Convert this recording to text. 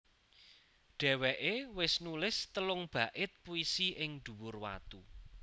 Dheweké wis nulis telung bait puisi ing dhuwur watu